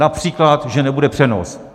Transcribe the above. Například že nebude přenos.